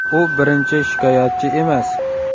U birinchi shikoyatchi emas.